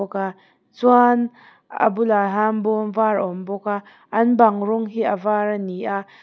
chuan a bulah hian bawm var a awm bawk a an bang rawng hi a var a ni a--